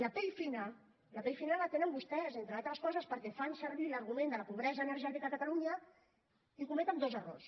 la pell fina la pell fina la tenen vostès entre altres coses perquè fan servir l’argument de la pobresa energètica a catalunya i cometen dos errors